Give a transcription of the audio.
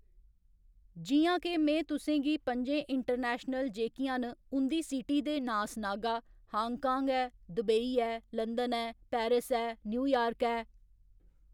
जि'यां के में तुसें गी पं'जें इंटरनैशनल जेह्‌कियां न उं'दी सिटी दे नांऽ सनागा हांगकांग ऐ दुबई ऐ लंदन ऐ पैरिस ऐ न्यूयार्क ऐ